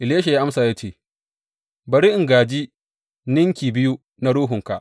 Elisha ya amsa ya ce, Bari in gāji ninki biyu na ruhunka.